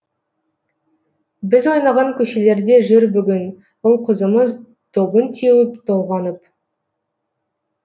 біз ойнаған көшелерде жүр бүгін ұл қызымыз добын теуіп толғанып